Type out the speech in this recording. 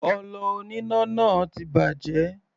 Ọlọ oníná náà ti bàjẹ́.